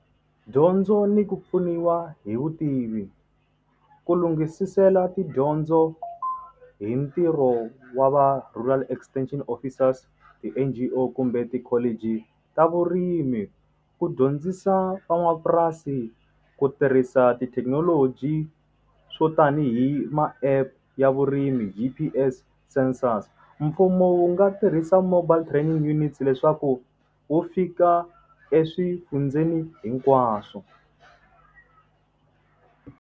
Dyondzo ni ku pfuniwa hi vutivi. Ku lunghisisela tidyondzo hi ntirho wa va rural extension officers, ti-N_G_O kumbe tikholiji ta vurimi. Ku dyondzisa van'wamapurasi ku tirhisa tithekinoloji swo tanihi ma-App ya vurimi hi census. Mfumo wu nga tirhisa mobile training units leswaku wu fika eswifundzeni hinkwaswo.